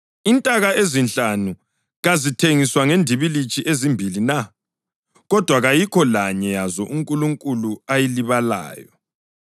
Intaka ezinhlanu kazithengiswa ngendibilitshi ezimbili na? Kodwa kayikho lanye yazo uNkulunkulu ayilibalayo.